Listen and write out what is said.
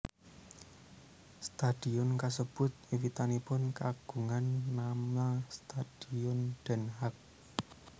Stadion kasebut wiwitanipun kagungan nama Stadion Den Haag